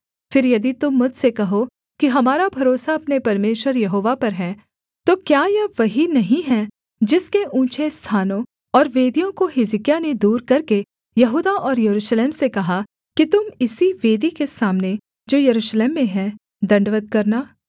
फिर यदि तुम मुझसे कहो कि हमारा भरोसा अपने परमेश्वर यहोवा पर है तो क्या यह वही नहीं है जिसके ऊँचे स्थानों और वेदियों को हिजकिय्याह ने दूर करके यहूदा और यरूशलेम से कहा कि तुम इसी वेदी के सामने जो यरूशलेम में है दण्डवत् करना